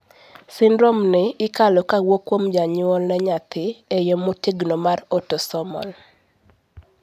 syndrome ni ikalo kawuok kuom janyuol ne nyathi e yoo motegno mar autosomal